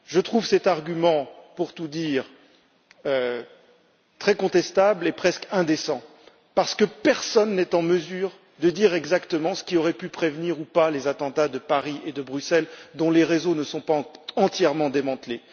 Je trouve cet argument, pour tout dire, très contestable et presque indécent, parce que personne n'est en mesure de dire exactement ce qui aurait pu prévenir ou pas les attentats de Paris et de Bruxelles, sachant que les réseaux qui les ont fomentés n'ont pas encore été entièrement démantelés.